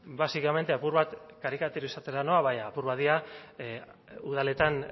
básicamente apur bat karikaturizatzera noa apur bat dira udaletan